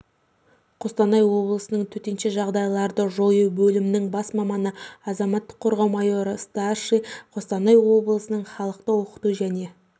қостанай облысының төтеншежағдайларды жою бөлімінің бас маманы азаматтық қорғау майоры страшная қостанай облысының халықты оқыту және